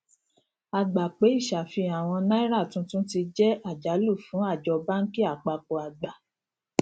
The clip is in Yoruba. a gbà pé ìṣàfihàn àwọn náírà tuntun ti jẹ àjálù fún àjọ báńkì àpapọ àgbà